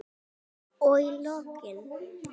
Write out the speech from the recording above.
Og í lokin.